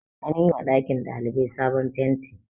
an yi wa ɗakin ɗalibai sabon fenti